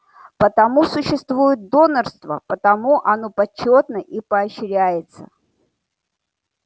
потому существует донорство потому оно почётно и поощряется